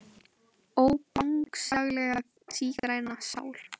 Ó Bangsalega sígræna sál.